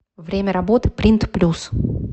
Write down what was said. время работы принт плюс